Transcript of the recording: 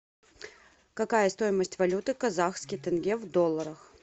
какая стоимость валюты казахский тенге в долларах